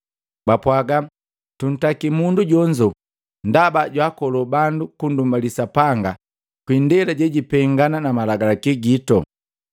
Bapwaga, “Tuntaki mundu jonzo ndaba jwaakoloo bandu kundumbali Sapanga kwa ndela jejipengana na malagalaki gito.”